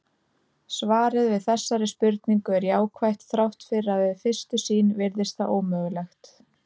Svarið við þessari spurningu er jákvætt þrátt fyrir að við fyrstu sýn virðist það ómögulegt.